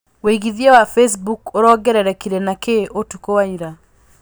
wĩigĩthĩa wa Facebook ũrongererekeire na kĩ ũtukũ wa ĩra